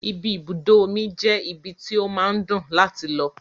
Ibi ibùdó omi je ibi tí ó máa ń dùn láti lọ.